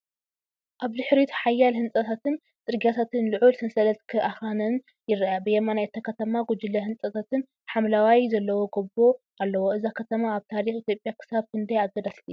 ኣብ ድሕሪት ሓያሎ ህንጻታትን ጽርግያታትን ልዑል ሰንሰለት ኣኽራንን ይርአ። ብየማን እታ ከተማ፡ ጕጅለ ህንጻታትን ሓምላይን ዘለዎ ጎቦ ኣሎ። እዛ ከተማ ኣብ ታሪኽ ኢትዮጵያ ክሳብ ክንደይ ኣገዳሲት እያ?